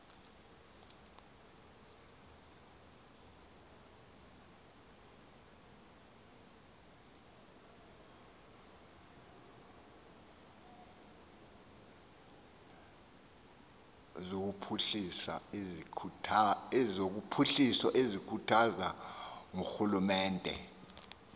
zophuhliso ezikhuthazwa ngurhulumente